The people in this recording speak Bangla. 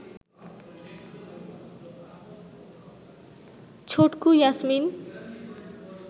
ছটকু ইয়াসমিন